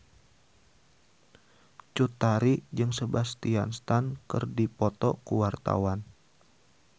Cut Tari jeung Sebastian Stan keur dipoto ku wartawan